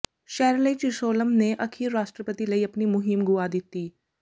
Shirley Chisholm ਨੇ ਅਖੀਰ ਰਾਸ਼ਟਰਪਤੀ ਲਈ ਆਪਣੀ ਮੁਹਿੰਮ ਗੁਆ ਦਿੱਤੀ